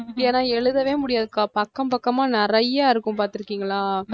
ஏன்னா எழுதவே முடியாதுக்கா பக்கம் பக்கமா நிறைய இருக்கும் பார்த்திருக்கீங்களா?